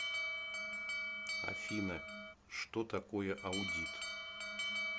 афина что такое аудит